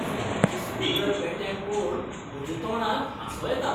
सुण्यांच्या सुंदर पेट्यांक पळोवन म्हज्या तोंडार हांसो येता.